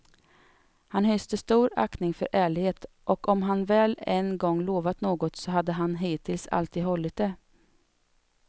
Han hyste stor aktning för ärlighet, och om han väl en gång lovat något så hade han hittills alltid hållit det.